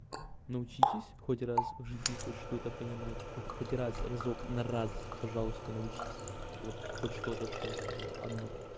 научитесь хоть раз в жизни хоть что-то понимать вы хоть раз разок на раз пожалуйста научись вот хоть что-то что я сказала одну